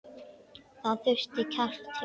Það þurfti kjark til.